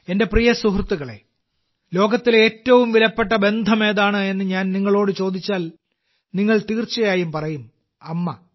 എന്റെ പ്രിയ സുഹൃത്തുക്കളെ ലോകത്തിലെ ഏറ്റവും വിലപ്പെട്ട ബന്ധം ഏതാണെന്ന് ഞാൻ നിങ്ങളോട് ചോദിച്ചാൽ നിങ്ങൾ തീർച്ചയായും പറയും - 'അമ്മ'